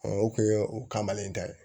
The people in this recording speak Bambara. o kun ye o kamalen ta ye